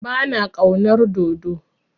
Ba na ƙaunar dodo.